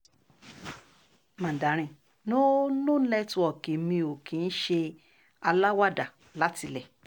mandarin no no network mi ò kì í ṣe aláwàdà látilé